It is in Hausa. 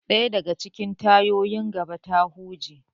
Daya daga cikin tayoyin gaban ta huje.